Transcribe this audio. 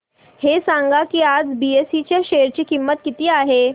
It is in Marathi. हे सांगा की आज बीएसई च्या शेअर ची किंमत किती आहे